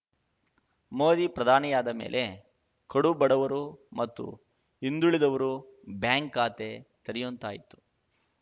ಮೋದಿ ಪ್ರಧಾನಿಯಾದ ಮೇಲೆ ಕಡು ಬಡವರು ಮತ್ತು ಹಿಂದುಳಿದವರು ಬ್ಯಾಂಕ್‌ ಖಾತೆ ತೆರೆಯುಂತಾಯಿತು